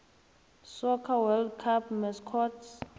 soccer world cup mascots